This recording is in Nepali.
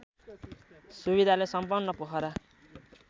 सुविधाले सम्पन्न पोखरा